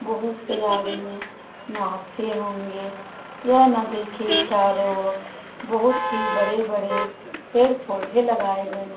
बोहोत से आदमी नहाते होंगे। यह नदी के चारों ओर बहुत ही बड़े-बड़े पेड़-पौधे लगाए गए --